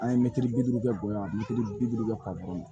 An ye mɛtiri bi duuru kɛ bonya mɛtiri bi duuru kɛ ka bɔn